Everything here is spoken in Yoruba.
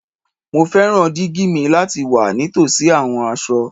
Mo fẹran digi mi lati wa nitosi awọn aṣọ